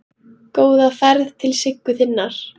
Góða ferð til Siggu þinnar.